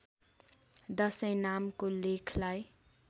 दशैँ नामको लेखलाई